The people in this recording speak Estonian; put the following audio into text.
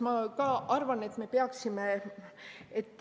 Ma ka arvan, et peaksime.